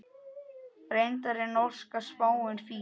Reyndar er norska spáin fín.